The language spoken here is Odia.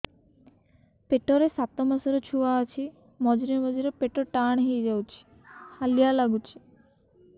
ପେଟ ରେ ସାତମାସର ଛୁଆ ଅଛି ମଝିରେ ମଝିରେ ପେଟ ଟାଣ ହେଇଯାଉଚି ହାଲିଆ ଲାଗୁଚି